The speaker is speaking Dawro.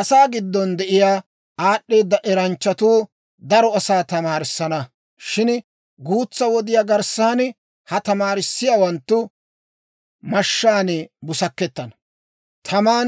«Asaa giddon de'iyaa aad'd'eeda eranchchatuu daro asaa tamaarissana; shin guutsa wodiyaa garssan ha tamaarissiyaawanttu mashshaan busakettana, taman